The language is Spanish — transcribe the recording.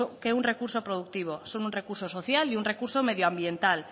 que un recurso productivo son un recurso social y un recurso medioambiental